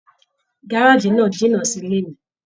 Gárájí náà jìnnà sí ilé mí.